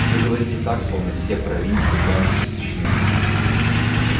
вы говорите так словно все провинции полностью истощены